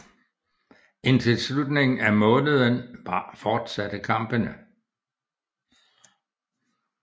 Indtil slutningen af måneden fortsatte kampene